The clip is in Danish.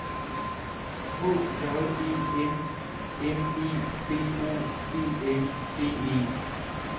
H J E M M E B O E N D E